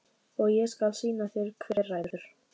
Og ég skal sýna þér hver ræður.